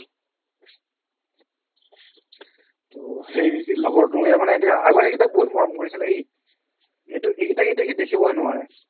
ত' সেই লগৰটোৱে মানে এতিয়া আগৰ সেইকিটাক বহুত মৰম কৰিছিলে সি এইটো এইকিটা কিন্তু সি দেখিবই নোৱাৰে